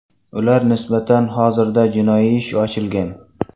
Ular nisbatan hozirda jinoiy ish ochilgan.